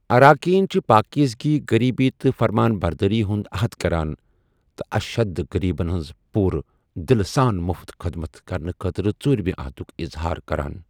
اراکین چھِ پٲكیزگی ، غریبی تہٕ فرمابردٲری ہُنٛد عہد کران، تہٕ'اشہد غریبَن ہٕنٛز پوٗرٕ دلہٕ سان مٗفت خدمت' کَرنہٕ خٲطرٕ ژوٗرِمہٕ عہدُک اظہار کَران۔